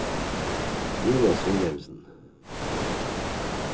Jonas Wilhelmsen